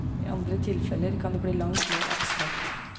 I andre tilfeller kan det bli langt mer abstrakt.